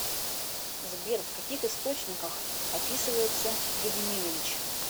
сбер в каких источниках описывается гедиминович